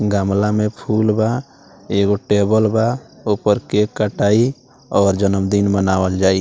गमला में फूल बा एगो टेबल बा ऊपर केक कटाई और जन्मदिन मनावल जाई।